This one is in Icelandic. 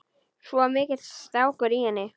Svo mikill strákur í henni.